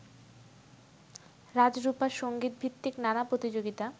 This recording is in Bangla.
রাজরূপা সংগীতভিত্তিক নানা প্রতিযোগিতা